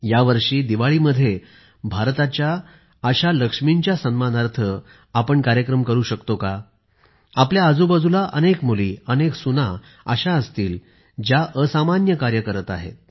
यावर्षी दिवाळीमध्ये भारताच्या या लक्ष्मींच्या सन्मानार्थ आपण कार्यक्रम करू शकतो का आपल्या आजूबाजूला अनेक मुली अनेक सुना अशा असतील ज्या असामान्य कार्य करत आहेत